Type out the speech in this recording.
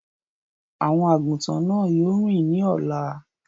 Àwọn àgùntàn náà yóò rìn ní ọ̀la.